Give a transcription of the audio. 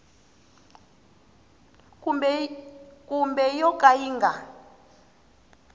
kumbe yo ka yi nga